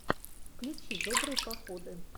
включи добрые походы